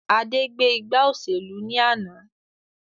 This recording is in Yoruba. Adé gbé ìgbà òṣèlú ni àná